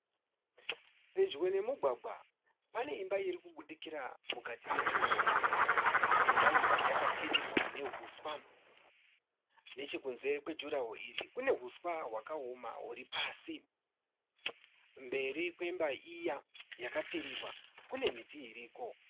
Pedyo nemugwagwa pane imba iri kubudikira mukati mejuraho. Imba iyi yakapfirirwa nehuswa. Nechekunze kwejurahoro iri kune huswa hwakaoma huri pasi. Mberi kwemba iya yakapfirirwa kune miti iriko.